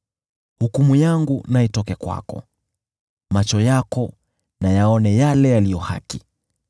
Hukumu yangu na itoke kwako, macho yako na yaone yale yaliyo haki.